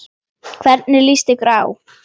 Hvernig lýst ykkur á?